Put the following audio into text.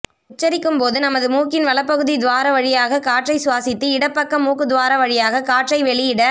உச்சரிக்கும் போது நமது மூக்கின் வலப்பகுதி துவார வழியாக காற்றை சுவாசித்து இடப்பக்க மூக்குத் துவார வழியாக காற்றை வெளியிட